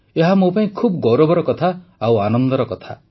ଏହା ମୋ ପାଇଁ ଖୁବ୍ ଗୌରବର କଥା ଓ ଆନନ୍ଦର କଥା